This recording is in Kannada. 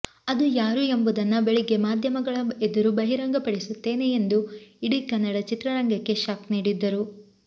ಅದು ಯಾರು ಎಂಬುದನ್ನ ಬೆಳಿಗ್ಗೆ ಮಾಧ್ಯಮಗಳ ಎದುರು ಬಹಿರಂಗ ಪಡಿಸುತ್ತೇನೆ ಎಂದು ಇಡೀ ಕನ್ನಡ ಚಿತ್ರರಂಗಕ್ಕೆ ಶಾಕ್ ನೀಡಿದ್ದರು